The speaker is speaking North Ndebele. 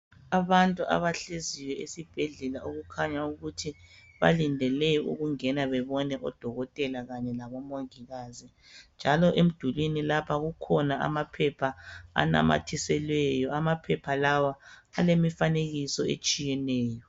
Abantu abahleziyo esibhedlela okukhanya ukuthi balindele ukungena bebone odokotela kanye labomongikazi. Njalo emdulini lapha kukhona amaphepha anamithiselweyo imifanekiso etshiyeneyo.